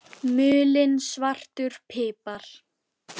Mulinn svartur pipar